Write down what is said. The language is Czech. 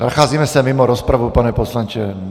Nacházíme se mimo rozpravu, pane poslanče.